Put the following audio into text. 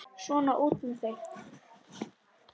Svona, út með þig!